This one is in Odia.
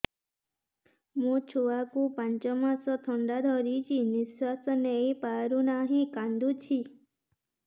ମୋ ଛୁଆକୁ ପାଞ୍ଚ ମାସ ଥଣ୍ଡା ଧରିଛି ନିଶ୍ୱାସ ନେଇ ପାରୁ ନାହିଁ କାଂଦୁଛି